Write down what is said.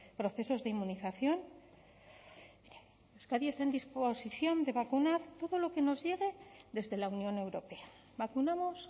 procesos de inmunización euskadi está en disposición de vacunar todo lo que nos llegue desde la unión europea vacunamos